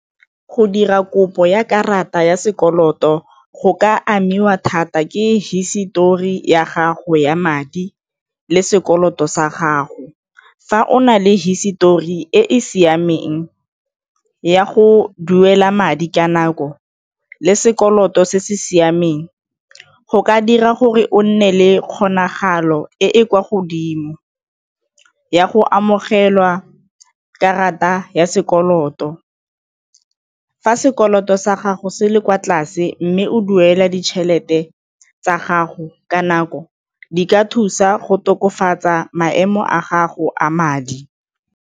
Go dira kopo ya karata ya sekoloto go ka amiwa thata ke hisetori ya gago ya madi le sekoloto sa gago. Fa o na le hisetori e e siameng ya go duela madi ka nako le sekoloto se se siameng go ka dira gore o nne le kgonagalo e e kwa godimo ya go amogelwa karata ya sekoloto. Fa sekoloto sa gago se le kwa tlase mme o duela ditšhelete tsa gago ka nako, di ka thusa go tokafatsa maemo a gago a madi.